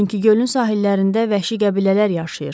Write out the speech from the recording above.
Çünki gölün sahillərində vəhşi qəbilələr yaşayır.